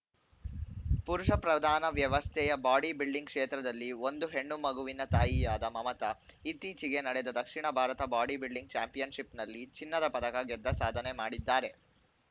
ಪುರುಷ ಪ್ರಧಾನ ವ್ಯವಸ್ಥೆಯ ಬಾಡಿ ಬಿಲ್ಡಿಂಗ್‌ ಕ್ಷೇತ್ರದಲ್ಲಿ ಒಂದು ಹೆಣ್ಣು ಮಗುವಿನ ತಾಯಿಯಾದ ಮಮತಾ ಇತ್ತೀಚೆಗೆ ನಡೆದ ದಕ್ಷಿಣ ಭಾರತ ಬಾಡಿಬಿಲ್ಡಿಂಗ್‌ ಚಾಂಪಿಯನ್‌ಶಿಪ್‌ನಲ್ಲಿ ಚಿನ್ನದ ಪದಕ ಗೆದ್ದ ಸಾಧನೆ ಮಾಡಿದ್ದಾರೆ